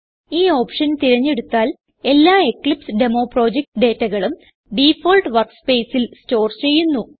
ഈ ഓപ്ഷൻ തിരഞ്ഞെടുത്താൽ എല്ലാ എക്ലിപ്സെഡെമോ പ്രൊജക്റ്റ് ഡേറ്റകളും ഡിഫോൾട്ട് workspaceൽ സ്റ്റോർ ചെയ്യുന്നു